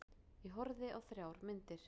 Ég horfði á þrjár myndir.